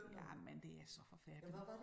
Jamen det er så forfærdeligt